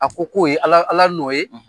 A ko k'o ye ala ala nƆ ye